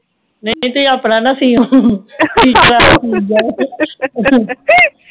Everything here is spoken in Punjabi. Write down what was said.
ਨਹੀਂ ਤੁਹੀਂ ਆਪਣਾ ਨਾ ਸਿਉ ਦੂਜਿਆਂ ਦਾ ਸੀਨਾ ਆ